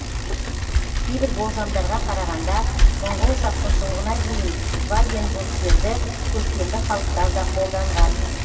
кейбір болжамдарға қарағанда моңғол шапқыншылығына дейін вагенбургтерді көшпенді халықтар да қолданған